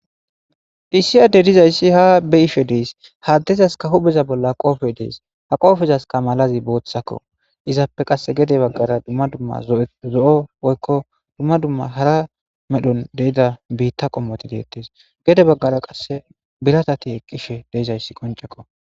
Iisiyade dizayssi ha be ishe dees haddezaska hubeza bolla qoofe dees ha qoofezaska malazi booththakko izappe qasse gede baggara dumma dumma zo7o woykko dumma dumma hara medhon deida biitta qommoti deettes gede baggara qasse bilatati eqqishe deizayssi qoncekko